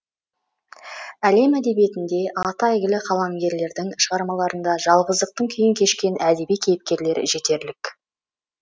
әлем әдебиетінде аты әйгілі қаламгерлердің шығармаларында жалғыздықтың күйін кешкен әдеби кейіпкерлер жетерлік